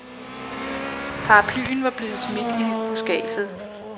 Paraplyen var blevet smidt i buskadset.